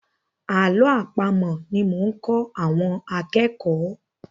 Àlọ́ àpamọ̀ ni mo ń kọ́ àwọn akẹ́kọ̀ọ́.